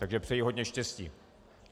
Takže přeji hodně štěstí.